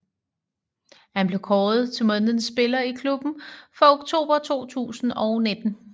Han blev kåret til månedens spiller i klubben for oktober 2019